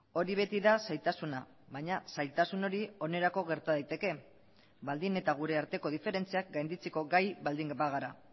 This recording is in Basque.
hori beti da zailtasuna baina zailtasun hori onerako gerta daiteke baldin eta gure arteko diferentziak gainditzeko gai baldin bagara